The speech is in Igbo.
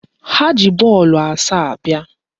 Ha ji bọọlụ asaa bịa